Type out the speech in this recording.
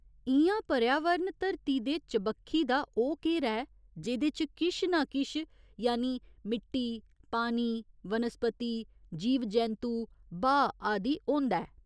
इ'यां पर्यावारण धरती दे चबक्खी दा ओह् घेरा ऐ जेह्दे च किश नां किश यानि मिट्टी, पानी, वनस्पति, जीव जैंतु, ब्हाऽ आदि होंदा ऐ।